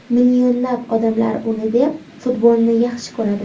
Millionlab odamlar uni deb futbolni yaxshi ko‘radi”.